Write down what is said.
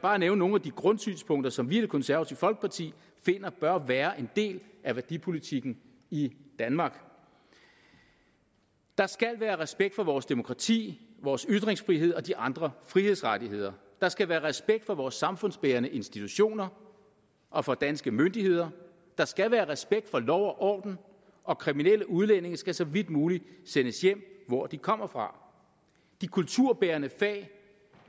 bare nævne nogle af de grundsynspunkter som vi i det konservative folkeparti mener bør være en del af værdipolitikken i danmark der skal være respekt for vores demokrati vores ytringsfrihed og de andre frihedsrettigheder der skal være respekt for vores samfundsbærende institutioner og for danske myndigheder der skal være respekt for lov og orden og kriminelle udlændinge skal så vidt muligt sendes hjem hvor de kommer fra de kulturbærende fag